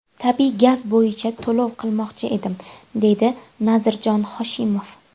Tabiiy gaz bo‘yicha to‘lov qilmoqchi edim, deydi Nazirjon Hoshimov.